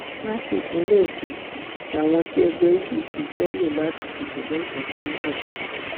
látìpínlẹ èkó làwọn tí ẹgbẹ apc fẹẹ lò láti dìbò lọsùn ti ń bọ ọ